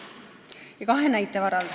Teen seda kahe näite varal.